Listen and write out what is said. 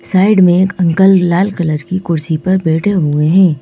Side में एक uncle लाल कलर की कुर्सी पर बैठे हुए हैं।